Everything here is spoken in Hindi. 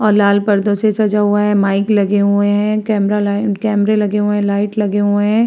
और लाल पडदे से सजा हुआ है। माइक लगे हुऐ हैं कैमरा ल कैमरा लगे हुऐ हैं लाइट लगे हुऐ हैं।